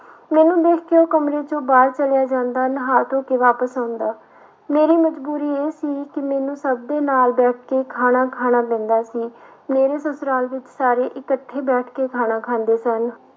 ਮੈਨੂੰ ਦੇਖ ਕੇ ਉਹ ਕਮਰੇ ਵਿੱਚੋਂ ਬਾਹਰ ਚਲਿਆ ਜਾਂਦਾ ਨਹਾ ਧੋ ਕੇ ਵਾਪਸ ਆਉਂਦਾ ਮੇਰੀ ਮਜ਼ਬੂਰੀ ਇਹ ਸੀ ਕਿ ਮੈਨੂੰ ਸਭ ਦੇ ਨਾਲ ਬੈਠ ਕੇ ਖਾਣਾ ਖਾਣਾ ਪੈਂਦਾ ਸੀ, ਮੇਰੇ ਸਸੁਰਾਲ ਵਿੱਚ ਸਾਰੇ ਇਕੱਠੇ ਬੈਠ ਕੇ ਖਾਣਾ ਖਾਂਦੇ ਸਨ।